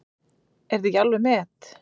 Er þetta ekki alveg met!